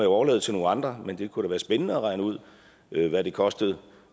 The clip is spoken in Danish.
overlade til nogle andre men det kunne da være spændende at regne ud hvad det kostede